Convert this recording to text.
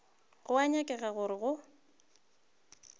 go a nyakega gore go